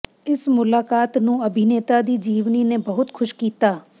ਇਸ ਮੁਲਾਕਾਤ ਨੂੰ ਅਭਿਨੇਤਾ ਦੀ ਜੀਵਨੀ ਨੇ ਬਹੁਤ ਖੁਸ਼ ਕੀਤਾ